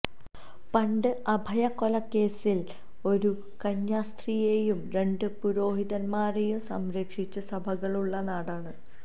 പണ്ട് അഭയ കൊലക്കേസില് ഒരു കന്യാസ്ത്രീയേയും രണ്ട പുരോഹിതന്മാരേയും സംരക്ഷിച്ച സഭകളുള്ള നാടാണ്